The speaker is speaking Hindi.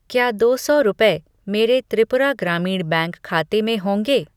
क्या दो सौ रुपये मेरे त्रिपुरा ग्रामीण बैंक खाते में होंगे?